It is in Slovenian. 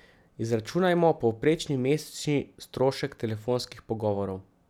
Izračunajmo povprečni mesečni strošek telefonskih pogovorov.